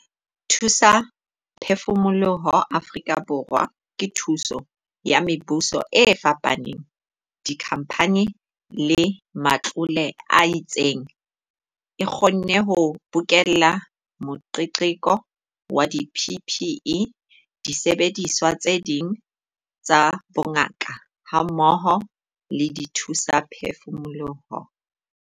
Dithusaphefumoloho Afrika Borwa, ka thuso ya mebuso e fapaneng, dikhamphane le matlole a itseng, e kgonne ho bokella moqeqeko wa di-PPE, disebediswa tse ding tsa bongaka hammoho le dithusaphefumoloho.